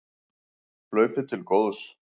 Hlaupið til góðs